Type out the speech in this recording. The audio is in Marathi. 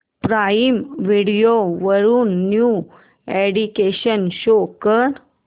प्राईम व्हिडिओ वरील न्यू अॅडीशन्स शो कर